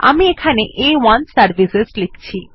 আমি এখানে আ1 সার্ভিসেস লিখছি